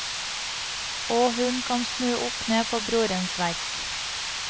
Og hun kan snu opp ned på brorens verk.